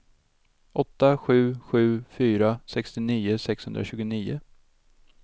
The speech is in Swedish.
åtta sju sju fyra sextionio sexhundratjugonio